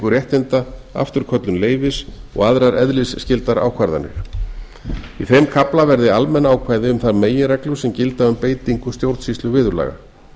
réttinda afturköllun leyfis og aðrar eðlisskyldar ákvarðanir í þeim kafla verði almenn ákvæði um þær meginreglur sem gilda um beitingu stjórnsýsluviðurlaga